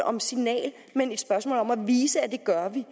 om signaler men et spørgsmål om at vise at det gør vi